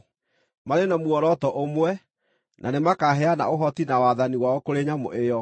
Marĩ na muoroto ũmwe, na nĩmakaheana ũhoti na wathani wao kũrĩ nyamũ ĩyo.